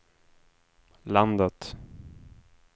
landet